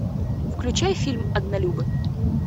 включай фильм однолюбы